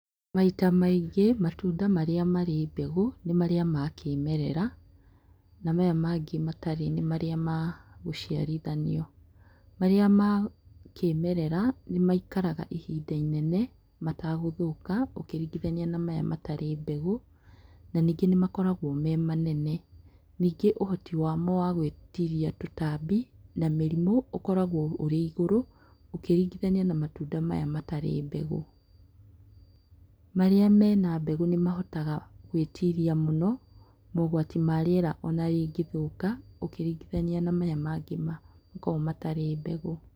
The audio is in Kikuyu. Maita maingĩ, matunda marĩa marĩ mbegũ nĩ marĩa ma kĩĩmerera, na maya mangĩ matarĩ nĩ marĩ ma gũciarithanio. Marĩa ma kĩĩmerera nĩ maikaraga ihinda inene matagũthũka ũkĩringithania na maya matarĩ mbegũ, na ningĩ nĩmakoragwo me manene. Ningĩ ũhoti wa mo wa gũĩtiria tũtambi, na mĩrimũ ũkoragwo ũrĩ igũrũ. Ũkĩringithania na matunda maya matarĩ mbegũ. Marĩa mena mbegũ nĩ mahotaga gwĩĩtiria mũno, maũgwati ma rĩera ona rĩngĩthũka ũkĩringithania na maya mangĩ makoragwo matarĩ mbegũ.